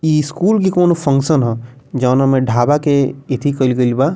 इ स्कूल के कोनो फंक्शन हअ जोनो मे ढाबा के एथी कइल गइल बा।